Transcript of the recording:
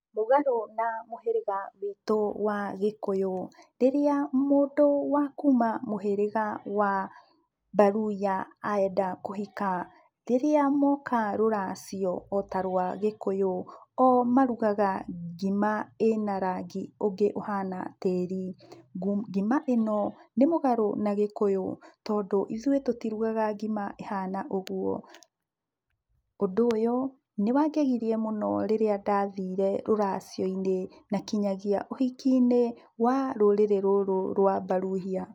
Mũgarũ na mũhĩrĩga witũ wa gĩkũyũ, rĩrĩa mũndũ wa kuma mũhĩrĩga wa mbaruya enda kũhika, rĩrĩa moka rũracio ota rwa gĩkũyũ, o marugaga ngima ĩna rangi ũngĩ ũhana tĩri. Ngima ĩno, nĩmũgarũ na gĩkũyũ tondũ ithuĩ tũtirugaga ngima ĩhana ũguo. Ũndũ ũyũ, nĩwangegirie mũno rĩrĩa ndathire rũracio-inĩ, na nginyagia ũhiki-inĩ wa rũrĩrĩ rũrũ rwa mbaruhiya.